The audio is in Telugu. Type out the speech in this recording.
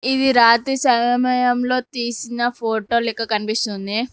ఇది రాత్రి సమయంలో తీసిన ఫోటో లెక్క కనిపిస్తుంది.